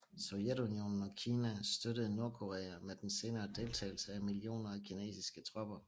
Sovjetunionen og Kina støttede Nordkorea med den senere deltagelse af millioner af kinesiske tropper